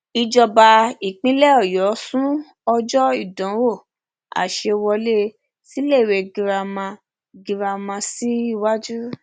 um ìjọba ìpínlẹ ọyọ sún ọjọ ìdánwò àṣẹwọlé síléèwé girama um girama um síwájú